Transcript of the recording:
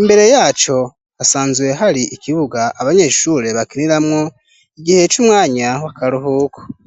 Imbere yaco hasanzwe hari ikibuga abanyeshure bakiniramwo igihe c'umwanya w'akaruhuko.